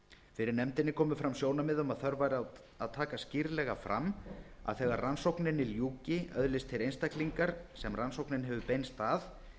fyrir nefndinni komu fram sjónarmið um að þörf væri á að taka skýrlega fram að þegar rannsókninni ljúki öðlist þeir einstaklingar sem rannsóknin hefur beinst að